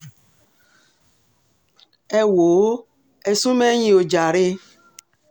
ẹ wò ó ẹ̀ sún mẹ̀yìn ò jàre